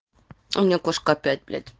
у меня кошка опять блять